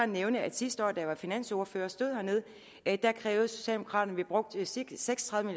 nævne at sidste år da jeg var finansordfører og stod hernede krævede socialdemokraterne at vi brugte seks og tredive